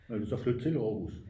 vil du så flytte til aarhus?